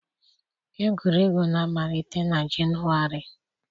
Egwuregwu na-amalite na Jenụwarị